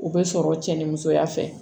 U bɛ sɔrɔ cɛ ni musoya fɛ